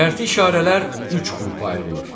Şərti işarələr üç qrupa ayrılır: